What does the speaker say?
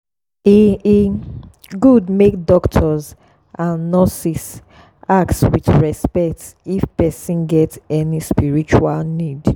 e e good make doctors and nurses ask with respect if person get any spiritual need.